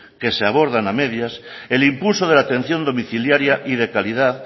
que se abordan a medias el impulso de la atención domiciliaria y de calidad